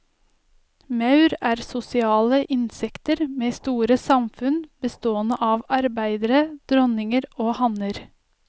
Maur er sosiale insekter med store samfunn bestående av arbeidere, dronninger og hanner.